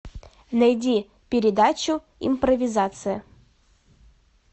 найди передачу импровизация